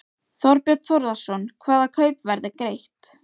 Þorbjörn Þórðarson: Hvaða kaupverð er greitt?